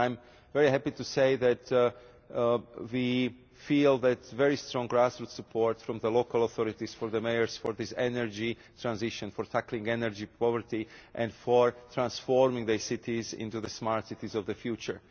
And I am very happy to say that we feel we have very strong grassroots support from local authorities, from mayors, for this energy transition, for tackling energy poverty and for transforming their cities into the smart cities of the future.